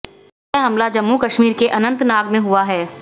यह हमला जम्मू कश्मीर के अनंतनाग में हुआ है